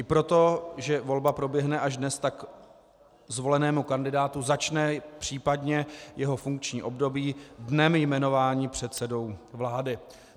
I proto, že volba proběhne až dnes, tak zvolenému kandidátu začne případně jeho funkční období dnem jmenování předsedou vlády.